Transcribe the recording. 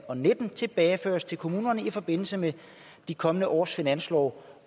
og nitten tilbageføres til kommunerne i forbindelse med de kommende års finanslove